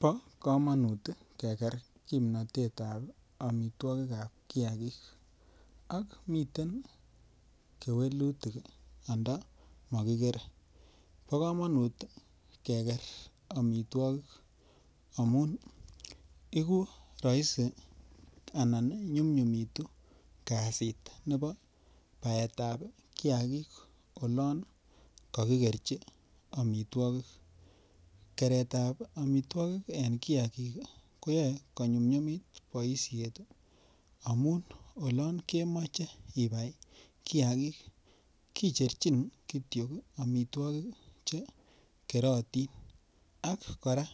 Bo komonut keker kimnatetab amitwogik ab kiagik miten kewelutik ndo mo kikere bo komonut keker amitwogik amun rahisi Anan nyumnyumitu kasit nebo baetab kiagik olon kakikerchi amitwogik keretab amitwogik ii en kiagik ko yoe ko nyumnyumit boisiet amun olon kemoche ibai kiagik kicherchin Kityo amitwogik Che kerotin ak kora